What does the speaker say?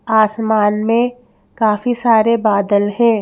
आसमान में काफी सारे बादल हैं।